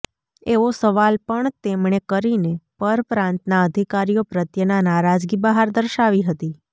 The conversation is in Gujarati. એવો સવાલ પણ તેમણે કરીને પર પ્રાંતના અધિકારીઓ પ્રત્યેના નારાજગી બહાર દર્શાવી હતી